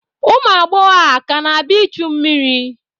Ụmụ agbọghọ a ka na-abịa ichu mmiri?